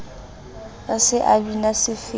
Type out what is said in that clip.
a se a bina sefela